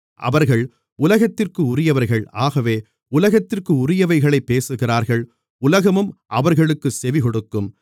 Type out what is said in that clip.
அவர்கள் உலகத்திற்குரியவர்கள் ஆகவே உலகத்திற்குரியவைகளைப் பேசுகிறார்கள் உலகமும் அவர்களுக்குச் செவிகொடுக்கும்